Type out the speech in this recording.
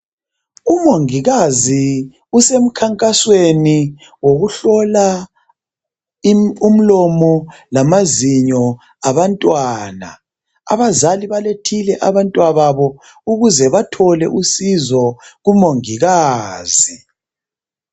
Umongikazi usemkhankasweni wokuhlola umlomo lamazinyo abantwana .Abazali balethile abantwababo ukuze bathole usizo kumongikazi .